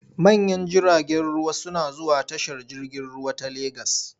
Manyan jiragen ruwa suna zuwa tashar jirgin ruwa ta Legas.